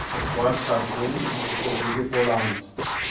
Monsieur le Président, tout d'abord merci aux rapporteurs pour leur travail.